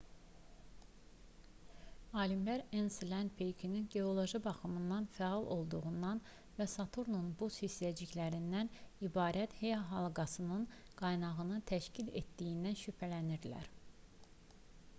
alimlər enselad peykinin geoloji baxımdan fəal olduğundan və saturnun buz hissəciklərindən ibarət e-halqasının qaynağını təşkil etdiyindən şübhələnirlər